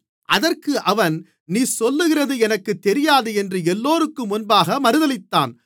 அதற்கு அவன் நீ சொல்லுகிறது எனக்குத் தெரியாது என்று எல்லோருக்கும் முன்பாக மறுதலித்தான்